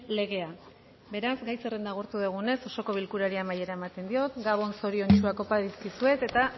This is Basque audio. legea beraz gai zerrenda agortu dugunez osoko bilkurari amaiera ematen diot gabon zoriontsuak opa dizkizuet eta